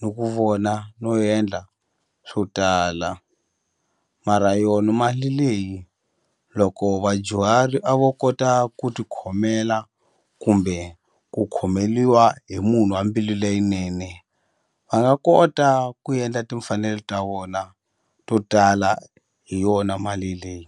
ni ku vona no endla swo tala mara yona mali leyi loko vadyuhari a vo kota ku ku tikhomela kumbe ku khomeliwa hi munhu wa mbilu leyinene a nga kota ku endla timfanelo ta vona to tala hi yona mali leyi.